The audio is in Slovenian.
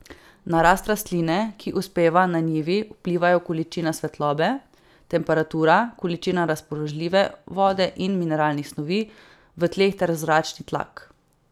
Na rast rastline, ki uspeva na njivi, vplivajo količina svetlobe, temperatura, količina razpoložljive vode in mineralnih snovi v tleh ter zračni tlak.